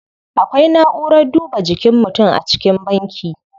Akwai na'urar duba jikin mutum a cikin banki.